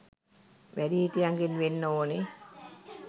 වැඩිහිටියන්ගෙන් වෙන්න ඕනෙ.